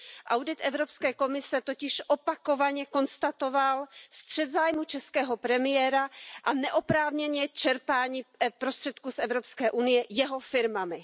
Audit Evropské komise totiž opakovaně konstatoval střet zájmů českého premiéra a neoprávněné čerpání prostředků EU jeho firmami.